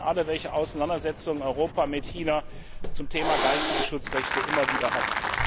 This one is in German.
Und Sie wissen alle, welche Auseinandersetzungen Europa mit China zum Thema geistige Schutzrechte immer wieder hat.